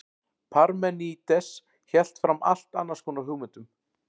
parmenídes hélt fram allt annars konar hugmyndum